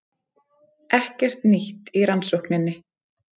Ekkert nýtt í rannsókninni